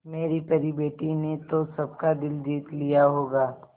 मेरी परी बेटी ने तो सबका दिल जीत लिया होगा